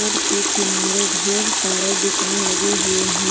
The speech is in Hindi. रोड के किनारे ढेर सारे दुकान लगे हुए हैं।